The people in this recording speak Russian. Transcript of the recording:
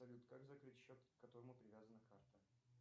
салют как закрыть счет к которому привязана карта